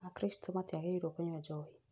Akristo matiagĩrĩirwo kũnyua njohi.